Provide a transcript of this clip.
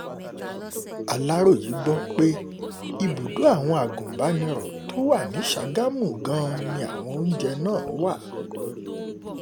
um aláròye gbọ́ pé ibùdó àwọn agùnbàniro um tó wà ní sàgámù gan-an ni àwọn oúnjẹ náà wà